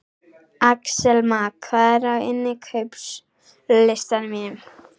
Axelma, hvað er á innkaupalistanum mínum?